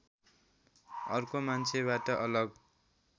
अर्को मान्छेबाट अलग